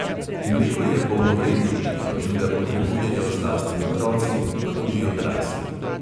Mleko je polnovredno živilo in ga potrebujejo zlasti otroci, pa tudi odrasli.